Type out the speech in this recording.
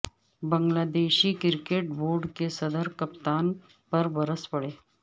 بنگلہ دیشی cricket board کے صدر کپتان پر برس پڑے